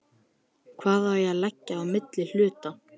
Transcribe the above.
Hvað á að liggja á milli hluta?